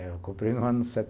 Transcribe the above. Eu comprei no ano de